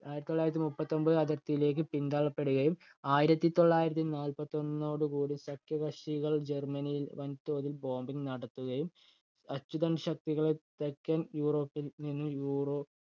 ആയിരത്തി തൊള്ളായിരത്തി മുപ്പത്തി ഒമ്പത് അതിര്‍ത്തിയിലേക്ക് പിന്തള്ളപ്പെടുകയും, ആയിരത്തി തൊള്ളായിരത്തി നാല്പത്തിയൊന്നോട് കൂടി സഖ്യകക്ഷികൾ ജർമ്മനിയിൽ വൻതോതിൽ bombing നടത്തുകയും അച്ചുതണ്ട് ശക്തികളെ തെക്കൻ യൂറോപ്പിൽ നിന്നു യൂറോ